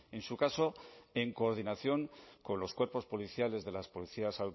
en su caso en coordinación con los cuerpos policiales de las policías